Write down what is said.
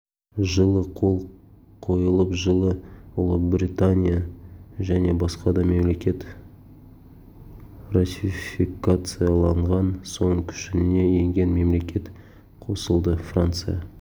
жылы қол қойылып жылы ұлыбритания және басқа да мемлекет ратификациялаған соң күшіне енген мемлекет қосылды франция